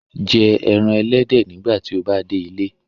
Jẹ ẹran ẹlẹdẹ nigbati o ba de ile